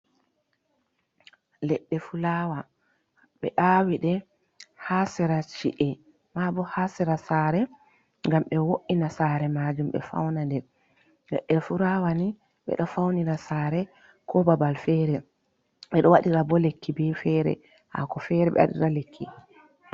ledde fulawa, be awiɗe ha sera chi’e ma bo ha sera sare ngam be wo’ina sare maajun ledde fulawa ni ɓe do faunira sare ko babal fere ɓe ɗo wadira bo lekki bi fere haako fere be awɗira lekki.